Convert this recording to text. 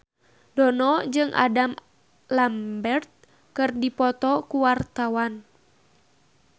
Dono jeung Adam Lambert keur dipoto ku wartawan